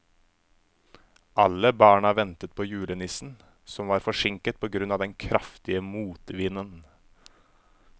Alle barna ventet på julenissen, som var forsinket på grunn av den kraftige motvinden.